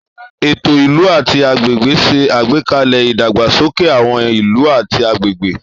Ètò ìlú àti agbègbè ń ṣe àgbékalẹ̀ ìdàgbàsókè àwọn ìlú àti agbègbè.